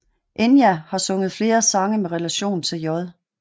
Enya har sunget flere sange med relation til J